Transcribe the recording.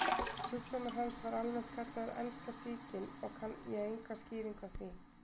Sjúkdómur hans var almennt kallaður enska sýkin og kann ég enga skýringu á því.